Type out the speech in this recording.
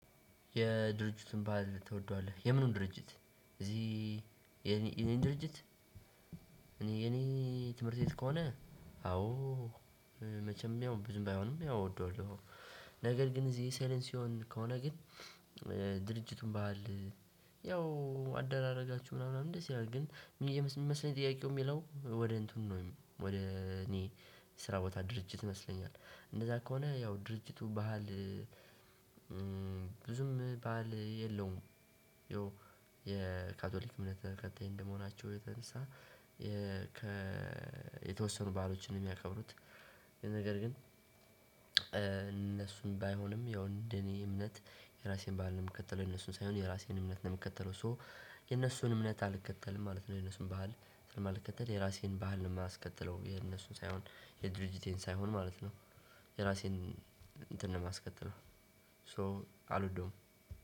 የድርጅቱን ባህል ትወደዋለህ? የምኑን ድርጅት እዚህ የኔ የኔን ድርጅት እኔ የኔ ትምህርት ቤት ከሆነ? አዎ መቼም ያው ብዙም ባይሆንም ያው እወደዋለሁ። ነገር ግን እዚህ ሴሌንሲዮን ከሆነ ግን። ድርጅቱን ባህል ያው አደራረጋችሁ ምና ምናምን ደስ ይላል ግን የምስመስለኝ ጥያቄው ሚለው ወደ እንትኑ ነው ወደ እኔ ስራ ቦታ ድርጅት ይመስለኛል። እንደዛ ከሆነ ያው ድርጅቱ ባህል ብዙም በዓል የለውም። ያው የካቶሊክ እምነት ተከታይ እንደመሆናቸው የተነሳ የ ከ የተወሰኑ በዓሎችን ነው ሚያከብሩት። ነገር ግን እነሱን ባይሆንም ያው እንደ እኔ እምነት የራሴን በዓል ነው ምከተለው የነሱን ሳይሆን የራሴን እምነት ነው ምከተለው ሶ የነሱን እምነት አልከተልም ማለት ነው። የነሱን ባህል ስለማልከተል የራሴን ባህል ነው ማስቀጥለው የነሱን ሳይሆን የድርጅቴን ሳይሆን ማለት ነው። የራሴን እንትን ነው ማስከትለው ሶ አልወደውም።